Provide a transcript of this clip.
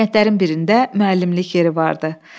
Kəndlərin birində müəllimlik yeri vardı.